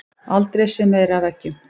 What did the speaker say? Aldrei séð meira af eggjum